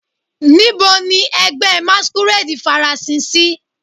Nibo ni ẹgbẹ masquerade farasin si?